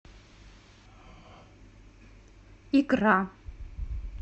икра